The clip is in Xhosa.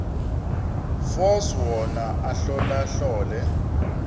force wona ahlolahlole